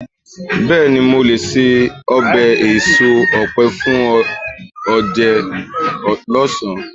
béèni, mo le se obe eso òpe fún onje ọsán